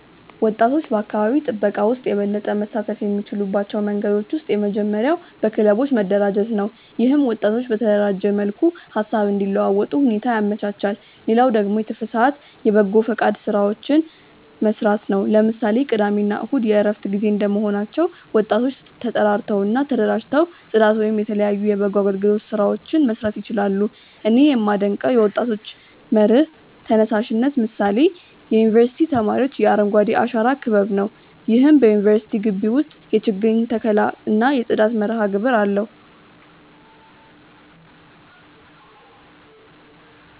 ወጣቶች በአካባቢ ጥበቃ ውስጥ የበለጠ መሳተፍ የሚችሉባቸው መንገዶች ውስጥ የመጀመሪያው በክለቦች መደራጀት ነው። ይህም ወጣቶች በተደራጀ መልኩ ሃሳብ እንዲለዋወጡ ሁኔታ ያመቻቻል። ሌላው ደግሞ የትርፍ ሰአት የበጎፈቃድ ስራዎችን መስራት ነው። ለምሳሌ ቅዳሜ እና እሁድ የእረፍት ጊዜ እንደመሆናቸው ወጣቶ ተጠራርተው እና ተደራጅተው ፅዳት ወይም የተለያዩ የበጎ አገልግሎት ስራዎችን መስራት ይችላሉ። እኔ ያመደንቀው የወጣቶች መር ተነሳሽነት ምሳሌ የዩኒቨርስቲ ተማሪዎች የአረንጓዴ አሻራ ክበብ ነው። ይህም በዩኒቨርስቲው ግቢ ውስጥ የችግኝ ተከላ እና የጽዳት መርሃግብር አለው።